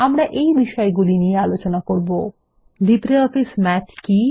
আমরা এই বিষয়গুলি নিয়ে আলোচনা করবো লিব্রিঅফিস মাথ কী